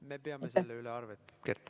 Me peame selle üle arvet, Kert.